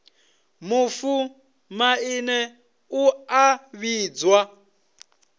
mufu maine u a vhidzwa